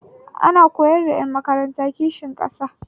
Ana koyar da ƴan makaranta kishin ƙasa